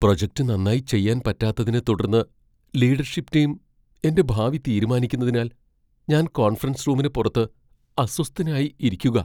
Project നന്നായി ചെയ്യാൻ പറ്റാത്തതിനെത്തുടർന്ന് ലീഡർഷിപ് ടീം എന്റെ ഭാവി തീരുമാനിക്കുന്നതിനാൽ ഞാൻ കോൺഫറൻസ് റൂമിന് പുറത്ത് അസ്വസ്ഥനായി ഇരിക്കുകാ.